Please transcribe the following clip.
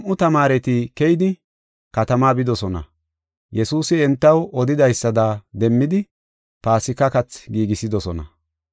He nam7u tamaareti keyidi, katama bidosona; Yesuusi entaw odidaysada demmidi, Paasika kathi giigisidosona.